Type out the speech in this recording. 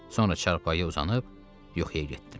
Sonra çarpayıya uzanıb, yuxuya getdim.